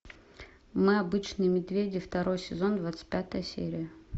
мы обычные медведи второй сезон двадцать пятая серия